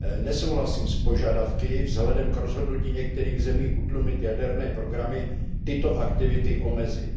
Nesouhlasím s požadavky vzhledem k rozhodnutí některých zemí utlumit jaderné programy tyto aktivity omezit.